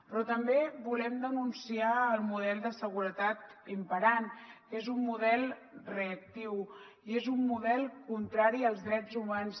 però també volem denunciar el model de seguretat imperant que és un model reactiu i és un model contrari als drets humans